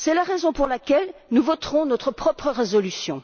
C'est la raison pour laquelle nous voterons notre propre résolution.